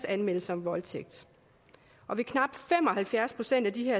anmeldelser om voldtægt og ved knap fem og halvfjerds procent af de